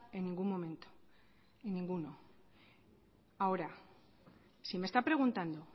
en ningún momento en ninguno ahora si me está preguntando